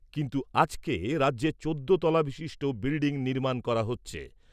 কিন্তু আজকে রাজ্যে চোদ্দ তলা বিশিষ্ট বিল্ডিং নির্মাণ করা হচ্ছে।